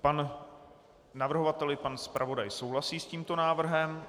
Pan navrhovatel i pan zpravodaj souhlasí s tímto návrhem.